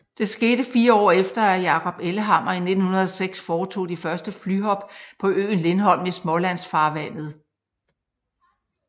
Det skete fire år efter at Jacob Ellehammer i 1906 foretog de første flyhop på øen Lindholm i Smålandsfarvandet